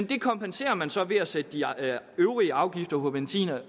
det kompenserer man så for ved at sætte de øvrige afgifter på benzin